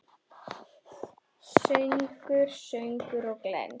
Söngur, sögur og glens.